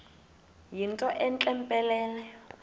yinto entle mpelele